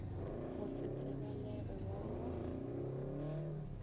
go se tsebalege wa go